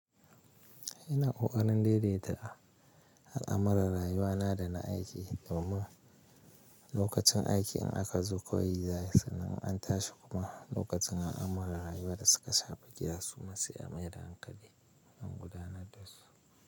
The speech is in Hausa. Ina ƙoƙarin daidaita al'amuran rayuwana da na aiki domin lokacin aiki in aka zo yi kawai za ayi sannan in tashi kuma lokacin al'amuran rayuwa da suka saba suma sai a maida hankali akan gudanar dasu.